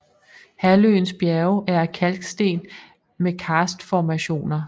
Halvøens bjerge er af kalksten med karstformationer